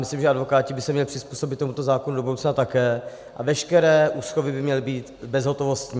Myslím, že advokáti by se měli přizpůsobit tomuto zákonu do budoucna také a veškeré úschovy by měly být bezhotovostní.